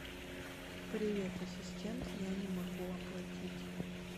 привет ассистент я не могу оплатить